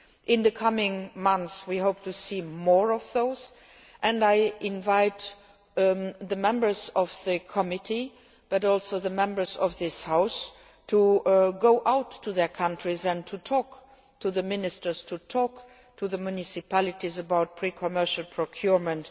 In the coming months we hope to see more of those, and I invite the members of the committee, and also the Members of this House, to go back to their countries and to talk to the ministers and the municipalities about pre commercial procurement.